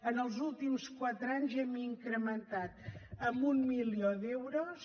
en els últims quatre anys hem incrementat amb un milió d’euros